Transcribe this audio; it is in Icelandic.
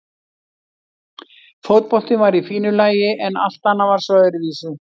Fótboltinn var í fínu lagi en allt annað var svo öðruvísi.